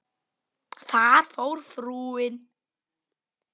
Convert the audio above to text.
Þar fór frúin.